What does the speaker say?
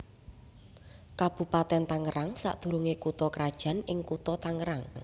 Kabupatèn Tangerang sadurungé kutha krajan ing Kutha Tangerang